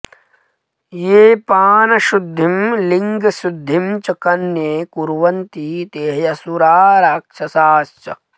येऽपानशुद्धिं लिङ्गशुद्धिं च कन्ये कुर्वन्ति ते ह्यसुरा राक्षसाश्च